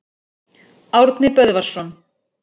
Árni Böðvarsson.